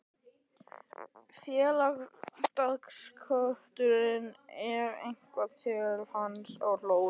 Félagar dátans kölluðu eitthvað til hans og hlógu.